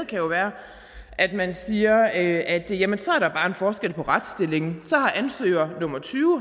kan jo være at man siger at at jamen så er der bare en forskel på retsstillingen så har ansøger nummer tyve